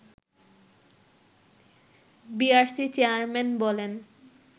BERC chairman বলেন